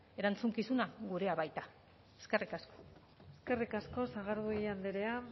erantzukizuna gurea baita eskerrik asko eskerrik asko sagardui andrea